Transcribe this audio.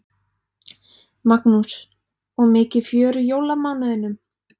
Magnús: Og mikið fjör í jólamánuðinum?